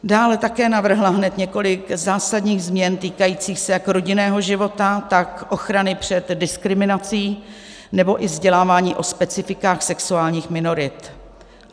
Dále také navrhla hned několik zásadních změn týkajících se jak rodinného života, tak ochrany před diskriminací nebo i vzdělávání o specifikách sexuálních minorit.